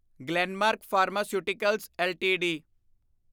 Glenmark pharmaceuticals LTD